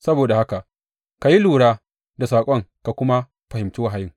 Saboda haka, ka yi lura da saƙon ka kuma fahimci wahayin.